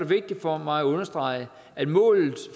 vigtigt for mig at understrege at målet